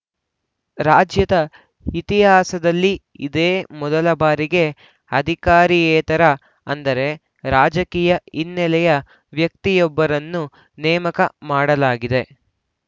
ರಾಜ್ಯದ ಇತಿಹಾಸದಲ್ಲಿ ಇದೇ ಮೊದಲ ಬಾರಿಗೆ ಅಧಿಕಾರಿಯೇತರ ಅಂದರೆ ರಾಜಕೀಯ ಹಿನ್ನೆಲೆಯ ವ್ಯಕ್ತಿಯೊಬ್ಬರನ್ನು ನೇಮಕ ಮಾಡಲಾಗಿದೆ